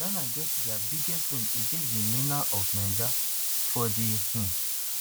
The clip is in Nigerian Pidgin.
ghana get dia biggest win against di mena of niger for di um